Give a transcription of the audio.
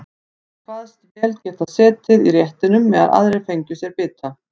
Hann kvaðst vel geta setið í réttinum meðan aðrir fengju sér bita.